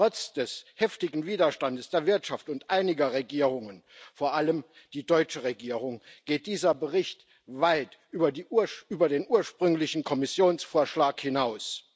Trotz des heftigen Widerstandes der Wirtschaft und einiger Regierungen, vor allem der deutschen Regierung, geht dieser Bericht weit über den ursprünglichen Kommissionsvorschlag hinaus.